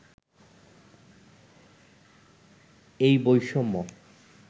এই বৈষম্য